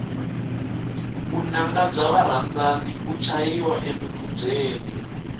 vunanga bya varandzani u chayiwa emikubyeni